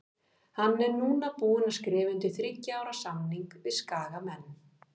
Hann er núna búinn að skrifa undir þriggja ára samning við Skagamenn.